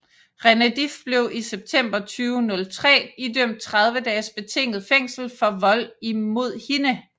René Dif blev i september 2003 idømt 30 dages betinget fængsel for vold mod hende